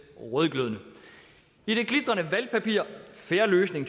rødglødende i det glitrende valgpapir fair løsning